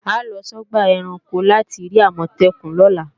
A ó lọ sọ́gbà ẹranko láti rí Àmọ̀tẹ́kùn lọ́la